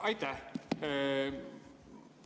Aitäh!